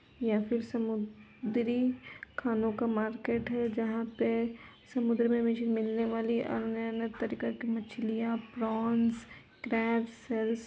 यह फिर समुद्री खानो का मार्केट है। जहां पे समुद्र में मछली मिलने वाली अन्य अन्य तरीका की मछलियां प्रॉन्स क्रेब्स सेलस --